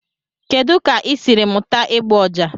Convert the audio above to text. Kedu ka ị siri mụta ịgba ọjà?